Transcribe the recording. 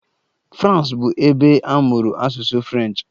Frans bụ ebe a mụrụ asụsụ French.